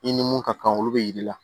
I ni mun ka kan olu bɛ yi yir'i la